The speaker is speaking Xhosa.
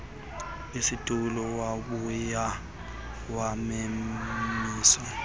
situlo wabuya wamemisa